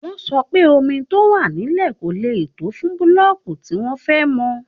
Wọ́n sọ pé omi tó wà nílẹ̀ kò lè tó fún búlọ́ọ̀kù tí wọ́n fẹ́ mọ́